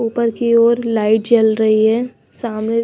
ऊपर की ओर लाइट जल रही है सामने--